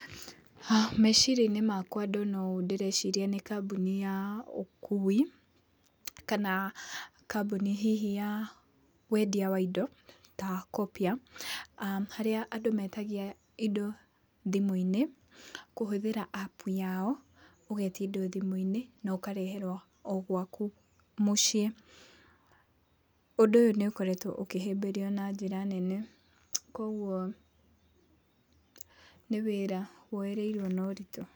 Meciria-inĩ makwa ndona ũũ ndĩreciria nĩ kambuni ya ũkui, kana kambuni hihi ya, wendia wa indo ta Copia, harĩa andũ metagia indo, thimũinĩ kũhũthĩra apu yao, ũgetia indo thimũ-inĩ, nokareherwo o gwaku mũciĩ. Ũndũ ũyũ nĩ ũkoretwo ũkĩhĩmbĩrio na njĩra nene koguo nĩ wĩra woereirwo na ũritũ.